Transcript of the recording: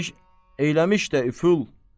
Eyləmiş, eyləmiş də üful.